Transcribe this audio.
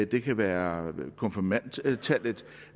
det kan være konfirmandtallet